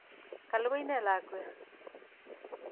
Ka lukui ne lakwet?